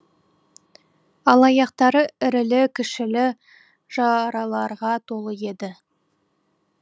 ал аяқтары ірілі кішілі жараларға толы еді